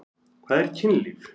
Hvað er kynlíf?